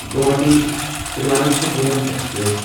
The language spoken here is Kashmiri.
گواہاٹی تھیرواننتھاپورم ایکسپریس